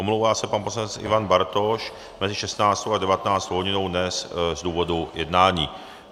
Omlouvá se pan poslanec Ivan Bartoš mezi 16. a 19. hodinou dnes z důvodu jednání.